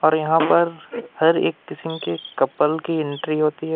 और यहां पर हर एक किस्म के कपल की एंट्री होती है।